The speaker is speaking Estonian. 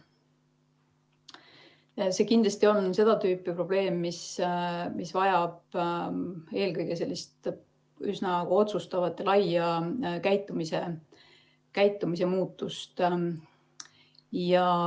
See on kindlasti seda tüüpi probleem, mis eelkõige vajab üsna otsustavat ja laia käitumise muutust.